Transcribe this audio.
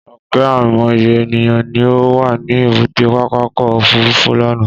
Ọ̀kẹ́ àìmọye ènìyàn ni ó wà ní èbúté pápákọ̀ òfúrufú lánàá.